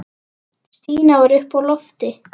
Stína var uppi á lofti.